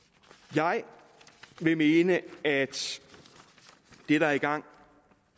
jeg vil mene at det der er i gang